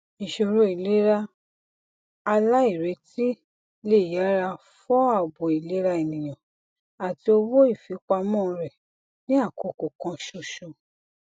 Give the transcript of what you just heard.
ìṣòro ìlera aláìretí le yára fọ àbò ìlera ènìyàn àti owó ìfipamọ rẹ ní àkókò kan ṣoṣo